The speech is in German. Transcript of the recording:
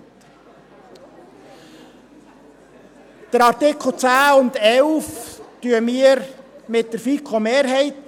Wir stimmen bei den Artikeln 10 und 11 mit der FiKo-Mehrheit.